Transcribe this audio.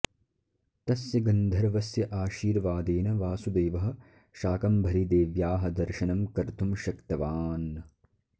तस्य गन्धर्वस्य आशीर्वादेन वासुदेवः शाकम्भरीदेव्याः दर्शनं कर्तुं शक्तवान्